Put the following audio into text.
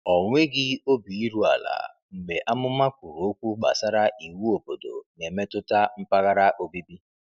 Ọ nweghị obi iru ala mgbe amụma kwuru okwu gbasara iwu obodo na-emetụta mpaghara obibi.